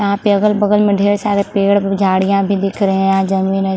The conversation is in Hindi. यहाँ पे अगल-बगल में ढेर सारे पेड़ झाडिया भी दिख रहे है। यहाँ जमीन है।